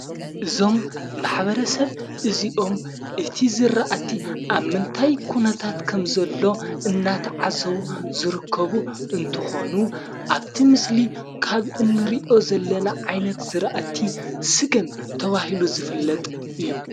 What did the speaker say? እዞም ማኅበረ ሰብ እዚኦም እቲ ዝረእቲ ኣብ መንታይ ኲነታት ከም ዘሎ እናተዓዘቡ ዝርከቡ እንትኾኑ ኣብቲ ምስሊ ካብ እንርእዮ ዘለና ዓይነት ዝረእቲ ስገም ተብሂሉ ዝፍለጥ እዩ።